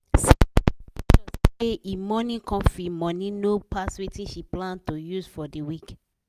sarah dey make sure say e morning coffee money no pass wetin she plan to use for de week.